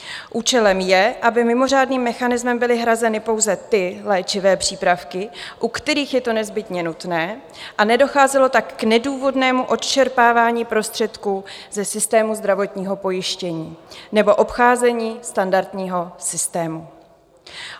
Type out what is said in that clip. Účelem je, aby mimořádným mechanismem byly hrazeny pouze ty léčivé přípravky, u kterých je to nezbytně nutné, a nedocházelo tak k nedůvodnému odčerpávání prostředků ze systému zdravotního pojištění nebo obcházení standardního systému.